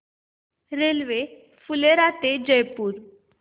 railway Phulera ते जयपूर